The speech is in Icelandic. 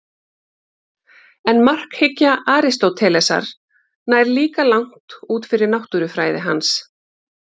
En markhyggja Aristótelesar nær líka langt út fyrir náttúrufræði hans.